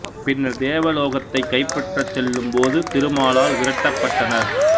பின்னர் தேவ லோகத்தைக் கைப்பற்றச் செல்லும் போது திருமாலால் விரட்டப்பட்டனர்